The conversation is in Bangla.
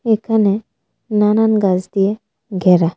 এখানে নানান গাছ দিয়ে ঘ্যারা .